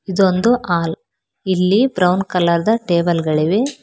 ಇದೊಂದು ಹಾಲ್ ಇಲ್ಲಿ brown colour ದ ಟೇಬಲ್ ಗಳಿವೆ.